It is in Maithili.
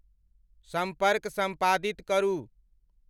संपर्क संपादित करू।